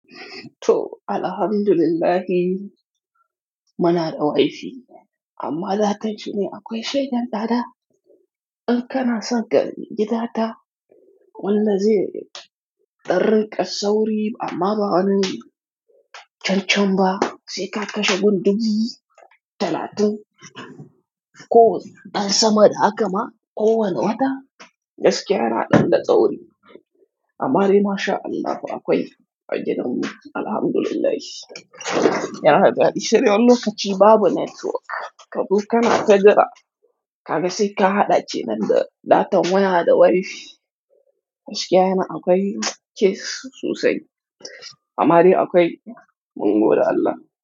To, alhamdulillah mana da wifi amma datan shine akwai shegen tsaɗa. Ɓin kana saka gida ta wallahi zai ɗan ringa ƙasa wuri amma ba'a nan. Chanchamba sai ka kashe bubu talatin ko ɗan sama da hakama ko wane wata. Gaskiya na ɗan da tsauri. Amma ari mashaAllah akwai agidanmu alhamdulillah. Yana da dadi. Sai wani lokaci babu network. Ka buƙa na kai gida ka ga sai ka haɗa ce nan da datan waya da wifi. Gaskiya yana akwai kes sosai. Amma ari akwai mun goda Allah.